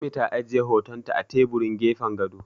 Ummi ta ajiye hotonta a teburin gefen gado.